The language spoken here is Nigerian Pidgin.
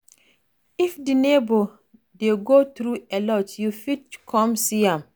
If di neighbour dey go through alot you fit come see am